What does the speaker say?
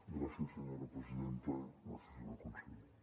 gràcies senyora presidenta gràcies senyor conseller